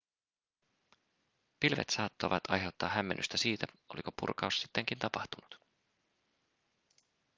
pilvet saattoivat aiheuttaa hämmennystä siitä oliko purkaus sittenkin tapahtunut